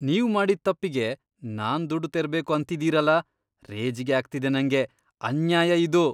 ನೀವ್ ಮಾಡಿದ್ ತಪ್ಪಿಗೆ ನಾನ್ ದುಡ್ಡ್ ತೆರ್ಬೇಕು ಅಂತಿದೀರಲ, ರೇಜಿಗೆ ಆಗ್ತಿದೆ ನಂಗೆ! ಅನ್ಯಾಯ ಇದು.